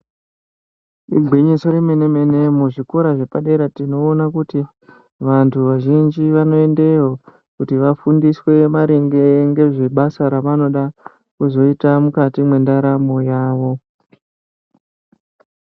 Igwinyiso remene mene muzvikora zvepadera tinoona kuti vantu vazhinji vanoendeyo kuti vafundiswe maringe ngezvebasa ravanoda kuzoita mukati mwendaramo yawo .